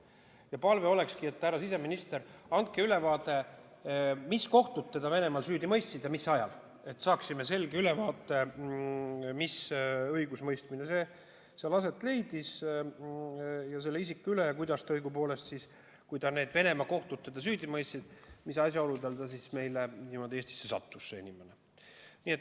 Ja palve olekski, härra siseminister, teile selline, et andke ülevaade, mis kohtud Venemaal ta süüdi mõistsid ja mis ajal see toimus, et saaksime selge ülevaate, mis õigusemõistmine selle isiku üle aset leidis, ning kui need Venemaa kohtud ta süüdi mõistsid, siis kuidas ja mis asjaoludel ta meile Eestisse sattus.